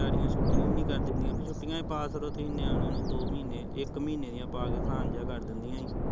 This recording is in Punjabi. ਵਿਚਾਰੀਆ ਛੁੱਟੀਆ ਵੀ ਨੀ ਕਰ ਦਿੰਦੀਆ, ਛੁੱਟੀਆ ਹੀਂ ਪਾ ਛੱਡੋ ਤੁਸੀਂ ਨਿਆਣਿਆ ਨੂੰ ਦੋ ਮਹੀਨੇ ਇੱਕ ਮਹੀਨੇ ਦੀਆ ਪਾ ਕੇ ਸਾਨ ਜਿਹਾ ਕਰ ਦਿੰਦੀਆ ਸੀ